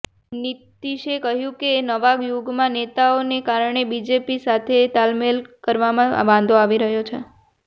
નીતીશે કહ્યુ કે નવા યુગના નેતાઓને કારણે બીજેપી સાથે તાલમેલ કરવામાં વાંધો આવી રહ્યો છે